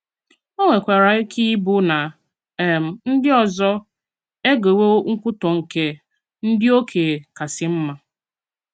Ó nwèkwàrà ike ịbụ nà um ndí ọzọ egewo nkwutọ̀ nkè “ndị okenye kàsị mma.